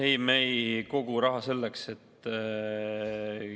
Ei, me ei kogu raha selleks.